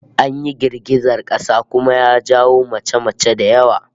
An yi girgizar kasa kuma ya jawo mace-mace da yawa